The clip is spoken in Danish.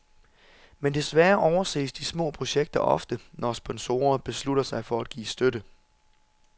Men desværre overses de små projekter ofte, når sponsorer beslutter sig at give støtte.